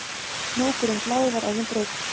Hnúkurinn blái var orðinn brúnn